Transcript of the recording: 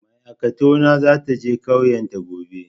Mai aikatau na za ta je ƙauyan ta gobe.